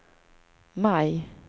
maj